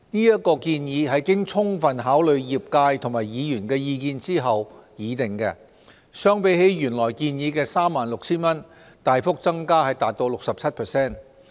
這建議是經充分考慮業界和議員的意見後擬定，相比起原來建議的 36,000 元，大幅增加達 67%。